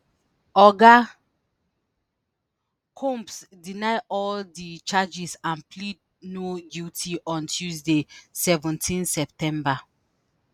oga combs deny all di charges and plead no guilty on tuesday seventeenseptember.